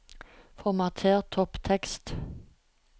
Formater topptekst